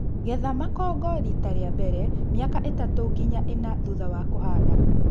Getha makongo kwa rita rĩa mbele mĩaka ĩtatũ nginya ĩna thutha wa kũhanda